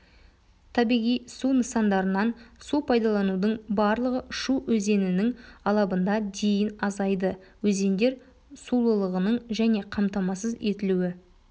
табиғи су нысандарынан су пайдаланудың барлығы шу өзенінің алабында дейін азайды өзендер сулылығының және қамтамасыз етілуі